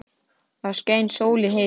Þá skein sól í heiði.